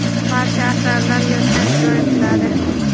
barcha asarlar yoddan ijro etiladi.